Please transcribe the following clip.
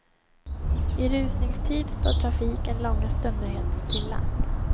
I rusningstid står trafiken långa stunder helt stilla.